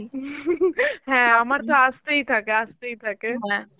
হ্যাঁ আমার তো আসতেই থাকে আসতেই থাকে